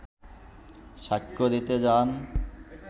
সাক্ষ্য দিতে যান